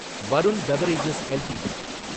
Varun beverages LTD